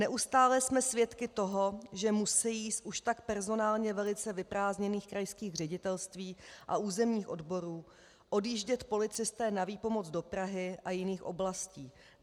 Neustále jsme svědky toho, že musejí z už tak personálně velice vyprázdněných krajských ředitelství a územních odborů odjíždět policisté na výpomoc do Prahy a jiných oblastí.